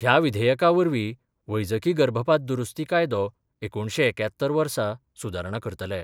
ह्या विधेयका वरवीं वैजकी गर्भपात दुरुस्ती कायदो एकुणशे एक्यात्तर वर्सा सुदारणा करतले.